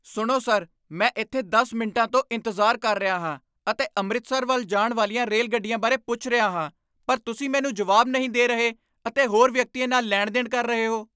ਸੁਣੋ ਸਰ! ਮੈਂ ਇੱਥੇ ਦਸ ਮਿੰਟਾਂ ਤੋਂ ਇੰਤਜ਼ਾਰ ਕਰ ਰਿਹਾ ਹਾਂ ਅਤੇ ਅੰਮ੍ਰਿਤਸਰ ਵੱਲ ਜਾਣ ਵਾਲੀਆਂ ਰੇਲ ਗੱਡੀਆਂ ਬਾਰੇ ਪੁੱਛ ਰਿਹਾ ਹਾਂ ਪਰ ਤੁਸੀਂ ਮੈਨੂੰ ਜਵਾਬ ਨਹੀਂ ਦੇ ਰਹੇ ਅਤੇ ਹੋਰ ਵਿਅਕਤੀਆਂ ਨਾਲ ਲੈਣ ਦੇਣ ਕਰ ਰਹੇ ਹੋ